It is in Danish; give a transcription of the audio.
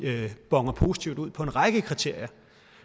boner positivt ud på en række kriterier